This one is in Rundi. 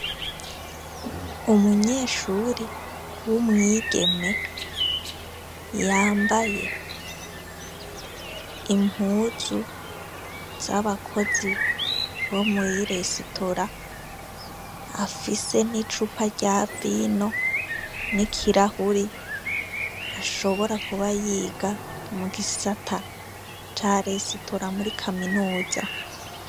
Umunyeshuri w'umwigeme yambaye impuzu z'abakozi bo mwiresitora afise n'icupa rya vino n'i kirahuri ashobora kuba yiga mu gisata ca resitora muri kaminuza.